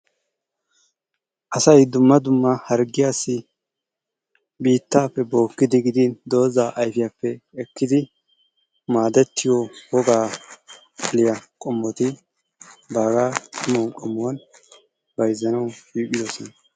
Asay dumma dumma hargiyassi biittaappe bookidi gidin, dozaa ayfiyappe gidin ekkidi maadetiyo wogaa xaliya qommoti baaga nu qommuwan bayzzanawu shiiqidosona.